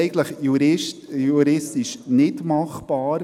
Dies ist juristisch nicht machbar.